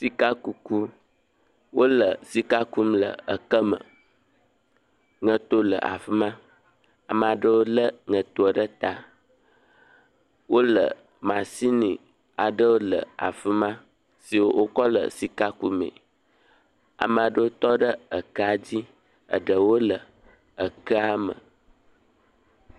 Sikakuku. Wole sika kum le ekeme. Ŋɛto le afi ma. Amaa ɖewo lé ŋɛtoa ɖe taa. Wole, masini aɖewo le afi ma si wokɔ le sika kumee. Amaa ɖewo tɔ ɖe ekea dzi. eɖewo le ekea me.